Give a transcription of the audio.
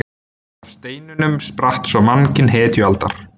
Af steinunum spratt svo mannkyn hetjualdar.